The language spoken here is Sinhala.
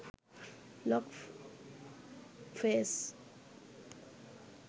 log face